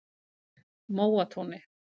Móatúni